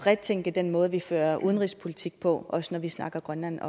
retænke den måde vi fører udenrigspolitik på også når vi snakker grønland